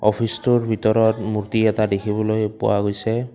অফিচটোৰ ভিতৰত মূৰ্ত্তি এটা দেখিবলৈ পোৱা গৈছে।